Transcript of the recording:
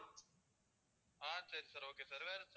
ஆஹ் சரி sir okay sir வேற என்ன sir